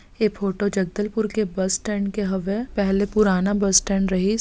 ये फोटो जगदलपुर के bus stand के हवय पहले पुराना बस स्टैंड रहीस--